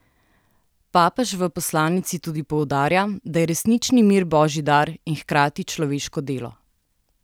Papež v poslanici tudi poudarja, da je resnični mir božji dar in hkrati človeško delo.